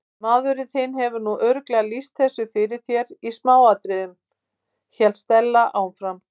Maðurinn þinn hefur nú örugglega lýst þessu fyrir þér í smáatriðum- hélt Stella áfram.